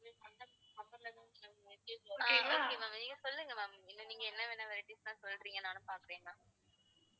okay ma'am நீங்க சொல்லுங்க ma'am இன்னும் நீங்க என்னவென்ன varieties லாம் சொல்றீங்கன்னு நானும் பாக்குறேன் ma'am